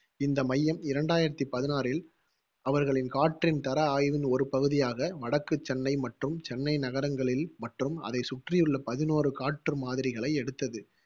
இந்த மையம் இரண்டாயிரத்தி பதினாறில் அவர்களின் காற்றின் தர ஆய்வின் ஒரு பகுதியாக வடக்கு சென்னை மற்றும் சென்னை நகரங்களில் மற்றும் அதைச் சுற்றியுள்ள பதினோரு காற்று மாதிரிகளை எடுத்தது.